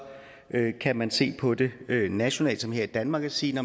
kan man se på det nationalt som her i danmark og sige